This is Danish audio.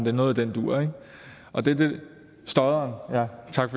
er noget i den dur stodderen ja tak